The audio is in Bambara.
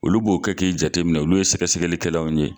Olu b'o kɛ k'i jate minɛ olu ye sɛgɛsɛgɛlikɛlaw ye.